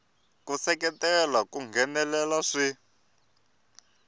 ku seketela ku nghenelela swi